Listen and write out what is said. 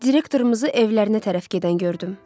Direktoruzu evlərinə tərəf gedən gördüm.